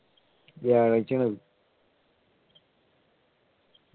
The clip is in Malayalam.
വ്യാഴാഴ്ചയാണ് അത്